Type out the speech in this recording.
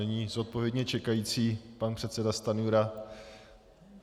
Nyní zodpovědně čekající pan předseda Stanjura.